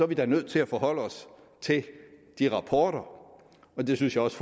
vi da nødt til at forholde os til de rapporter og det synes jeg også